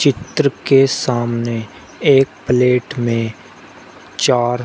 चित्र के सामने एक प्लेट में चार--